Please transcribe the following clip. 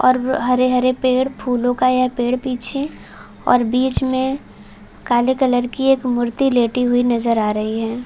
और ब हरे -हरे पेड़ फूलो का यह पेड़ पीछे और बीच में काले कलर की एक मूर्ति लेटी हुई नजर आ रही है |